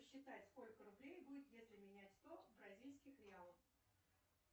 посчитай сколько рублей будет если менять сто бразильских реалов